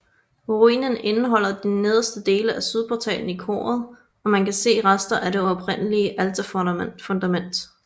Ruinen indeholder de nederste dele af sydportalen i koret og man kan se rester af det oprindelige alterfundamentet